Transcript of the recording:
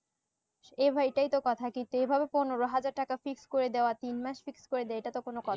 এই হয় এইটাই তো কথা কি তেই ভাবে পনেরো হাজার টাকা fix করে দেওয়া তিন মাস fix দেই এটা তো কথা